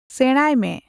ᱥᱮᱸᱬᱟᱭ ᱢᱮ᱾